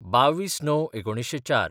२२/०९/१९०४